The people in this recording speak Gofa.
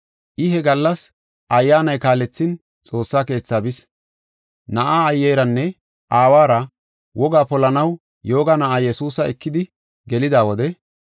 I he gallas Ayyaanay kaalethin Xoossa Keethi bis. Na7aa aayeranne aawara wogaa polanaw yooga na7aa Yesuusa ekidi gelida wode,